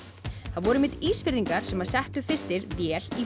það voru Ísfirðingar sem settu fyrstir vél í